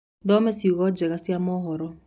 thome cĩongo njerũ cĩa mohoro